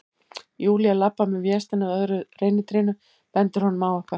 Júlía labbar með Véstein að öðru reynitrénu, bendir honum á eitthvað.